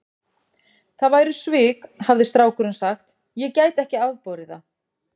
Það væru svik, hafði strákurinn sagt, ég gæti ekki afborið það.